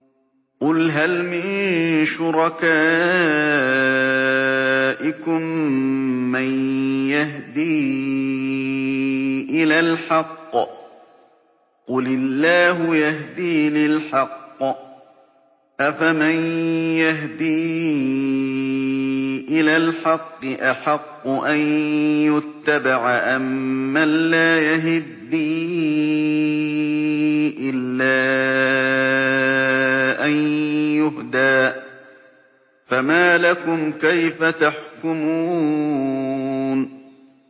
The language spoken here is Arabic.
قُلْ هَلْ مِن شُرَكَائِكُم مَّن يَهْدِي إِلَى الْحَقِّ ۚ قُلِ اللَّهُ يَهْدِي لِلْحَقِّ ۗ أَفَمَن يَهْدِي إِلَى الْحَقِّ أَحَقُّ أَن يُتَّبَعَ أَمَّن لَّا يَهِدِّي إِلَّا أَن يُهْدَىٰ ۖ فَمَا لَكُمْ كَيْفَ تَحْكُمُونَ